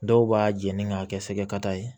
Dɔw b'a jeni k'a kɛ sɛgɛ kata ye